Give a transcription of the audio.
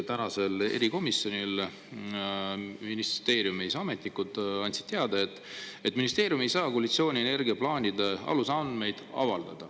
Tänasel erikomisjoni istungil andsid ministeeriumi ametnikud teada, et ministeerium ei saa koalitsiooni energiaplaanide alusandmeid avaldada.